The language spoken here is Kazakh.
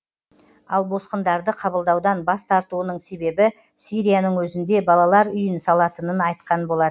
ал босқындарды қабылдаудан бас тартуының себебі сирияның өзінде балалар үйін салатынын айтқан болатын